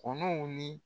Kɔnɔw ni